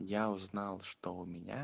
я узнал что у меня